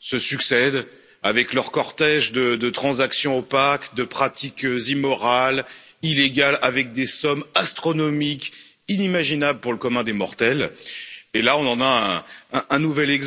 se succèdent, avec leur cortège de transactions opaques, de pratiques immorales illégales avec des sommes astronomiques inimaginable pour le commun des mortels, et là on en a un nouvel exemple.